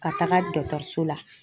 Ka taga dɔgɔtɔrɔso la.